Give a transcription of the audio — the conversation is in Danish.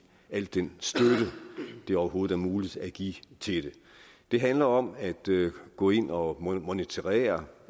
al den støtte det overhovedet er muligt at give til det det handler om at gå ind og monitorere